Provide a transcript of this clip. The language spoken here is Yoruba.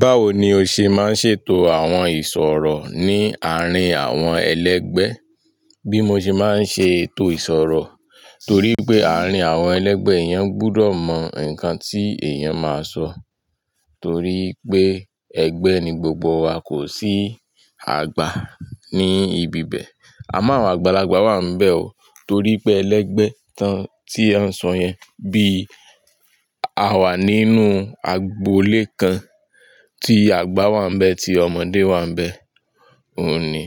Báwo ni o ṣe máa ń ṣètò àwọn ìṣòro ní àárín àwọn ẹlẹgbẹ́? Bí mo ṣe máa ń ṣe ètò ìṣòro torí pé àárín àwọn ẹlẹgbẹ́ yẹn gbúdọ̀ mọ nǹkan tí èèyàn máa sọ torí pé ẹgbẹ́ ni gbogbo wa kò sí àgbà ní ibi bẹ́ẹ̀ àmọ́ àwọn àgbàlagbà wà níbẹ̀ o torí pé ẹlẹgbẹ́ kan tí a ń sọ yẹn bí a wà nínú agboolé kan tí àgbà wà níbẹ̀ tí ọmọdé wà níbẹ̀. Òun ni